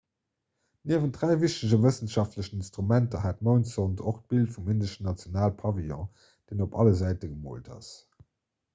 niewent dräi wichtege wëssenschaftlechen instrumenter hat d'moundsond och d'bild vum indeschen nationalpavillon deen op alle säite gemoolt ass